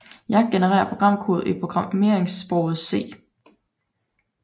Yacc genererer programkode i programmeringssproget C